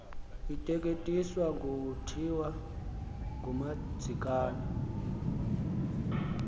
ateketiswa kuthiwa ngumadzikane